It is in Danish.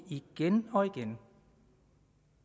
igen og igen